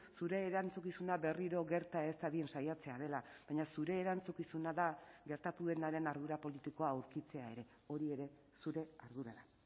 zure erantzukizuna berriro gerta ez dadin saiatzea dela baina zure erantzukizuna da gertatu denaren ardura politikoa aurkitzea ere hori ere zure ardura da